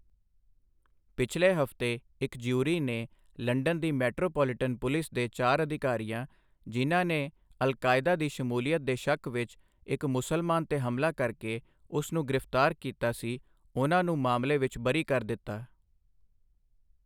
ਪਿਛਲੇ ਹਫ਼ਤੇ ਇੱਕ ਜਿਊਰੀ ਨੇ ਲੰਡਨ ਦੀ ਮੈਟਰੋਪੋਲੀਟਨ ਪੁਲਿਸ ਦੇ ਚਾਰ ਅਧਿਕਾਰੀਆਂ, ਜਿਹਨਾਂ ਨੇ ਅਲ ਕਾਇਦਾ ਦੀ ਸ਼ਮੂਲੀਅਤ ਦੇ ਸ਼ੱਕ ਵਿੱਚ ਇੱਕ ਮੁਸਲਮਾਨ 'ਤੇ ਹਮਲਾ ਕਰ ਕੇ ਉਸ ਨੂੰ ਗ੍ਰਿਫਤਾਰ ਕਿਤਾ ਸੀ, ਉਹਨਾਂ ਨੂੰ ਮਾਮਲੇ ਵਿੱਚ ਬਰੀ ਕਰ ਦਿੱਤਾ I